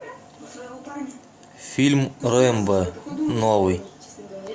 фильм рэмбо новый